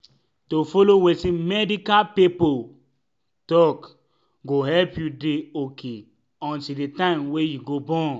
to follow wetin medical pipo talk go help you dey ok until the time wey u go born.